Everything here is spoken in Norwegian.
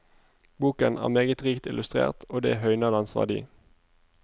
Boken er meget rikt illustrert og det høyner dens verdi.